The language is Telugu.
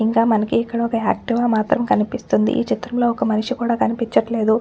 ఇంకా మనకి ఇక్కడొక యాక్టివా మాత్రం కనిపిస్తుందిఈ చిత్రం లో ఒక్క మనిషి కూడా కనిపించట్లేదు.